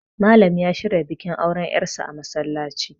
Malam ya shirya bikin aure yarsa a msallaci